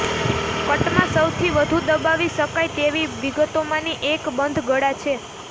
કટમાં સૌથી વધુ દબાવી શકાય તેવી વિગતોમાંની એક બંધ ગળા છે